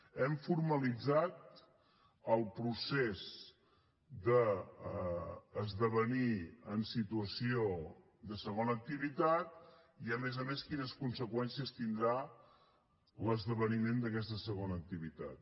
hem formalitzat el procés d’esdevenir en situació de segona activitat i a més a més quines conseqüències tindrà l’esdeveniment d’aquesta segona activitat